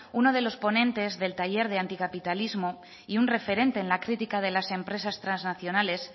uno de los ponentes del taller de anticapitalismo y un referente en la crítica de las empresas transnacionales